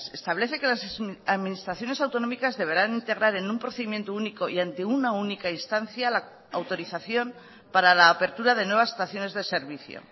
establece que las administraciones autonómicas deberán integrar en un procedimiento único y ante una única instancia la autorización para la apertura de nuevas estaciones de servicio